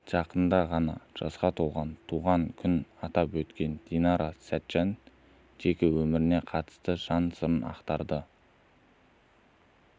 жақында ғана жасқа толған туған күнін атап өткен динара сәтжан жеке өміріне қатысты жан сырын ақтарды